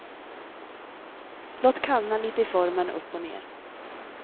Låt kallna lite i formen upp och ner.